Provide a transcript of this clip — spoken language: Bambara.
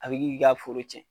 A bɛ kɛ k'i ka foro cɛn